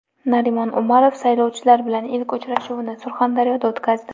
Narimon Umarov saylovchilar bilan ilk uchrashuvini Surxondaryoda o‘tkazdi.